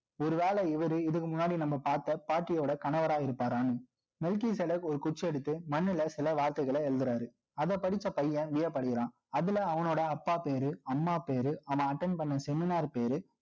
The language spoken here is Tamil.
ஒருவேளை இவரு, இதுக்கு முன்னாடி நம்ம பார்த்த பாட்டியோட கணவரா இருப்பாரான்னு. Military சிலை ஒரு குச்சி எடுத்து, மண்ணுல சில வார்த்தைகள எழுதுறாரு. அதை படிச்ச பையன், வியப்படையறான். அதுல அவனோட அப்பா பேரு, அம்மா பேரு, அவன் attend பண்ண seminar பேரு